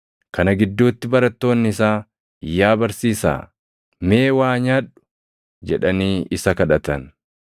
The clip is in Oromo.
Kana gidduutti barattoonni isaa, “Yaa barsiisaa, mee waa nyaadhu!” jedhanii isa kadhatan.